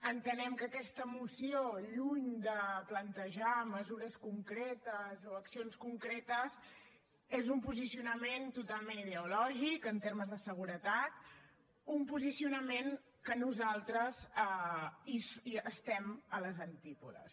entenem que aquesta moció lluny de plantejar mesures concretes o accions concretes és un posicionament totalment ideològic en termes de seguretat un posicionament de què nosaltres estem als antípodes